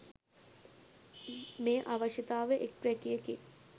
මේ අවශ්‍යතාව එක් වැකියකින්